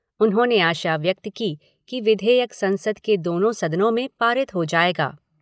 उन्होंने आशा व्यक्त की कि विधेयक संसद के दोनों सदनों में पारित हो जाएगा।